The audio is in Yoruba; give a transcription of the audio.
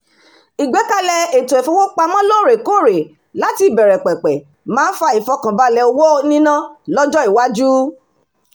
ìgbékalẹ̀ ètò ìfowópamọ́ lóòrèkóòrè láti ìbẹ̀rẹ̀pẹ̀pẹ̀ máa ń fa ìfọ̀kànbalẹ̀ owó níná lọ́jọ́-iwájú